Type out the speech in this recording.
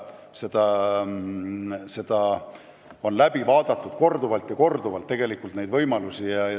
Neid võimalusi on korduvalt arutatud.